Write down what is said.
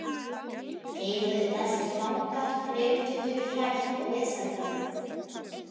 Þeir höfðu með sér fanga, drengtötur hrætt og vesældarlegt.